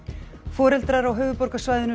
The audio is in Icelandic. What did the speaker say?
foreldrar á höfuðborgarsvæðinu